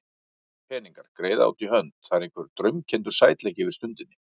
Peningar, greiða út í hönd, það er einhver draumkenndur sætleiki yfir stundinni.